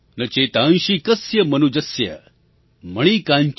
न चेतांसी कस्य मनुजस्य